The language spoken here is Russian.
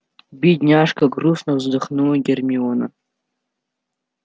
бедняжка грустно вздохнула гермиона